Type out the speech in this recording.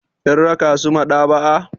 Kin raka su maɗaba'a.